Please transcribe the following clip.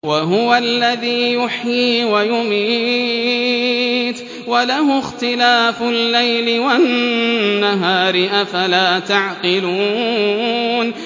وَهُوَ الَّذِي يُحْيِي وَيُمِيتُ وَلَهُ اخْتِلَافُ اللَّيْلِ وَالنَّهَارِ ۚ أَفَلَا تَعْقِلُونَ